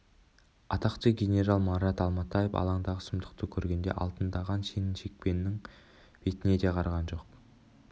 атақты генерал марат алматаев алаңдағы сұмдықты көргенде алтындаған шен-шекпеннің бетіне де қараған жоқ